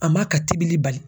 A m'a ka tibili bali